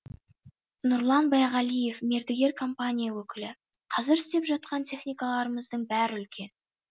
нұрлан байғалиев мердігер компания өкілі қазір істеп жатқан техникаларымыздың бәрі үлкен